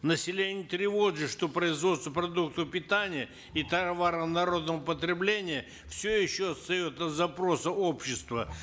население тревожит что производство продуктов питания и товаров народного потребления все еще остается запросом общества